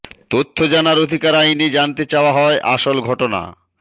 তথ্য জানার অধিকার আইনে জানতে চাওয়া হয় আসল ঘটনা